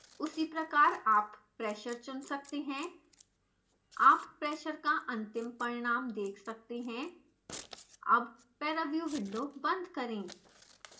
उसी प्रकार आप pressure चुन सकते हैं आप pressure का अंतिम परिणाम देख सकते हैं अब पैराव्यू विंडो बंद करें